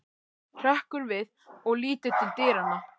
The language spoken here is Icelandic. Hrekkur við og lítur til dyranna.